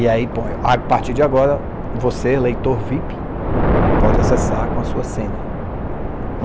E aí, a partir de agora, você, leitor vip, pode acessar com a sua senha.